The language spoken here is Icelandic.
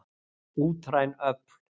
Útræn öfl.